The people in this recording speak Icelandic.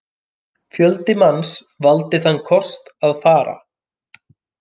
Fjöldi manns valdi þann kost að fara.